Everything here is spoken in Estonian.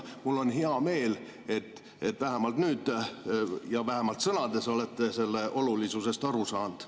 Mul on hea meel, et vähemalt nüüd ja vähemalt sõnades olete selle olulisusest aru saanud.